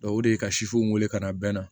o de ye ka sifuw wele ka na bɛnna